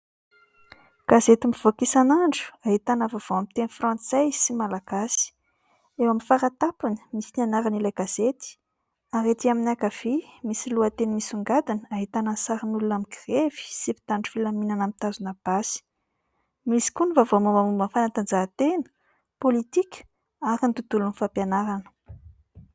Gazety mivoaka isan'andro ahitana vaovao amin'ny teny frantsay sy malagasy. Eo amin'ny fara-tampony misy ny anaran' ilay gazety ary aty amin'ny ankavia misy lohateny misongadina ahitana sarin'olona migrevy sy mpitandro filaminana mitazona basy. Misy koa ny vaovao mambamomba ny fanatanjahantena, politika ary ny tontolon'ny fampianarana.